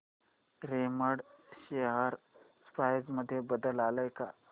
Raymond share price मध्ये बदल आलाय का